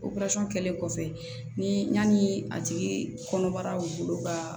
kɛlen kɔfɛ ni yanni a tigi kɔnɔbara bolo ka